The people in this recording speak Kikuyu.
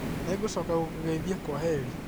Nĩngũcoka gũkũgeithia kwaheri